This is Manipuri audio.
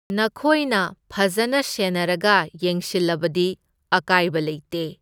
ꯅꯈꯣꯏꯅ ꯐꯖꯅ ꯁꯦꯟꯅꯔꯒ ꯌꯦꯡꯁꯤꯜꯂꯕꯗꯤ ꯑꯀꯥꯏꯕ ꯂꯩꯇꯦ꯫